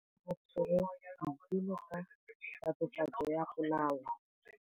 Maphodisa a tshwere Boipelo ka tatofatsô ya polaô.